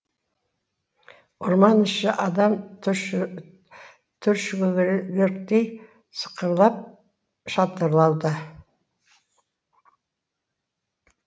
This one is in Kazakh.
орман іші адам түршігерліктей сықырлап шатырлауда